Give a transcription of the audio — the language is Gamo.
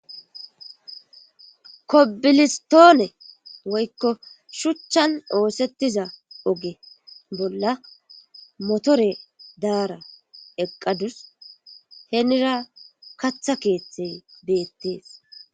kobilistoone woykko shuchchan oosettiza oge bolla motore daara eqqadus henira katha keeththey beettees